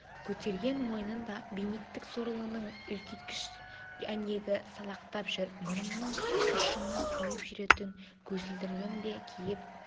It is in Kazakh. көтерген мойнында бенедикт сорлының үлкейткіш әйнегі салақтап жүр мұрнының ұшына қойып жүретін көзілдірігін де киіп